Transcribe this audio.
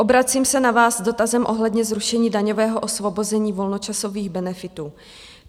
Obracím se na vás s dotazem ohledně zrušení daňového osvobození volnočasových benefitů.